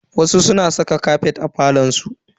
Wasu suna saka kafet a falon su.